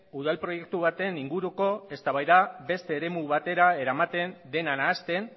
udal proiektu baten inguruko eztabaida beste eremu batera eramaten dena nahasten